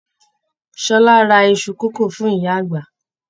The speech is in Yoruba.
Ṣọlá rà Isu kòkò fún ìyá àgbà.